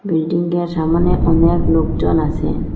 বিল্ডিংয়ের সামনে অনেক লোকজন আসে।